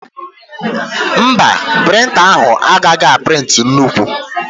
Mba, prịnta ahụ agaghị a prịntị nnukwu